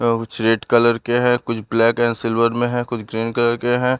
अ कुछ red colour के हैं कुछ ब्लैक एंड सिल्वर में है कुछ ग्रीन कलर के हैं।